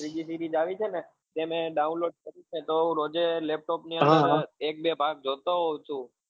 બીજી series આવી છે ને જે મેં download કરી છે તો હું રોજે laptop ની અંદર એક બે ભાગ જોતો હોઉ છુ